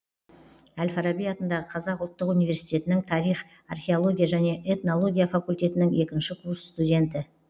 әл фараби атындағы қазақ ұлттық университетінің тарих археология және этнология факультетінің екінші курс студенті